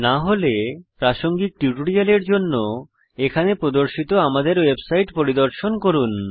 না হলে প্রাসঙ্গিক টিউটোরিয়ালের জন্য এখানে প্রদর্শিত আমাদের ওয়েবসাইট পরিদর্শন করুন